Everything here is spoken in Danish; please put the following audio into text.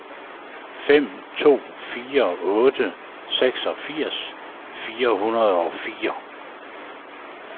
fem to fire otte seksogfirs fire hundrede og fire